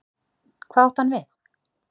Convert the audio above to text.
Hvað átti hann við?